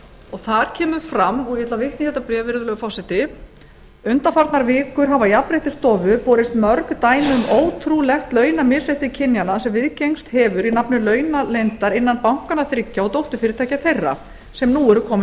og þar kemur fram og ég ætla að vitna í þetta bréf virðulegur forseti undanfarnar vikur hafa jafnréttisstofu borist mörg dæmi um ótrúlegt launamisrétti kynjanna sem viðgengst hefur í nafni launaleyndar innan bankanna þriggja og dótturfyrirtækja þeirra sem nú eru komin